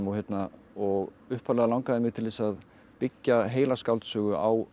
og upphaflega langaði mig til þess að byggja heila skáldsögu á